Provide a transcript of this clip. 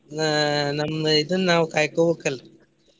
ಆಹ್ ನಮ್ದ್ ಇದನ್ನ ನಾವ್ ಕಾಯ್ಕೋಬೇಕ್ ಅಲ್ರೀ.